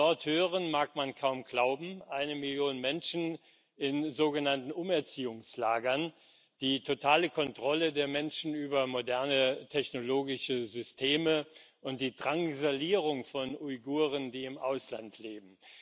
Was wir von dort hören, mag man kaum glauben Eine Million Menschen in sogenannten Umerziehungslagern, die totale Kontrolle der Menschen über moderne technologische Systeme und die Drangsalierung von Uiguren, die im Ausland leben.